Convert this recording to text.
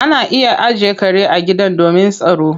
Ana iya ajiye kare a gidan domin yin tsaro